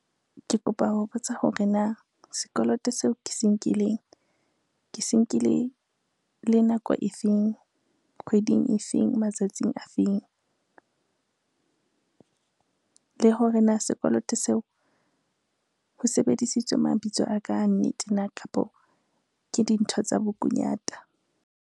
Ke kopa ho botsa hore na sekoloto seo ke se nkileng, ke se nkile le nako efeng, kgweding efeng, matsatsing a feng. Le hore na sekoloto seo ho sebedisitswe mabitso a ka a nnete na kapo ke dintho tsa bokunyata.